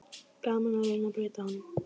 Gaman að reyna að breyta honum.